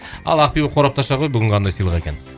ал ақбибі қорапты аша ғой бүгін қандай сыйлық екен